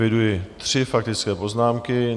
Eviduji tři faktické poznámky.